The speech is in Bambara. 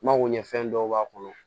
N mago ɲɛ fɛn dɔw b'a kɔnɔ